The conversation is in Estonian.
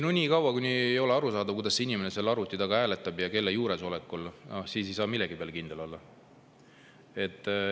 Nii kaua, kuni ei ole arusaadav, kuidas inimene seal arvuti taga hääletab ja kelle juuresolekul, siis ei saa millegi peale kindel olla.